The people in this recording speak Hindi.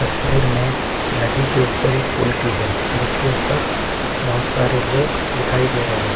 तस्वीर में नदी के ऊपर एक पुल की है जिस के ऊपर बोहोत सारे लोग दिखाई दे रहे हैं।